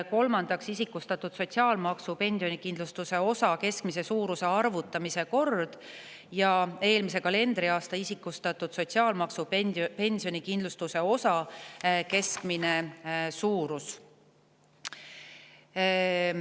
Kolmandaks, isikustatud sotsiaalmaksu pensionikindlustuse osa keskmise suuruse arvutamise kord ja eelmise kalendriaasta isikustatud sotsiaalmaksu pensionikindlustuse osa keskmine suurus.